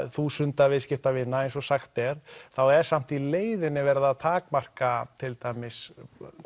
þúsunda viðskiptavina eins og sagt er þá er samt í leiðinni verið að takmarka til dæmis